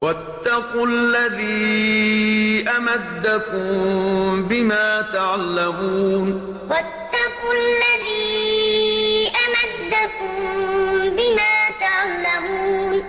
وَاتَّقُوا الَّذِي أَمَدَّكُم بِمَا تَعْلَمُونَ وَاتَّقُوا الَّذِي أَمَدَّكُم بِمَا تَعْلَمُونَ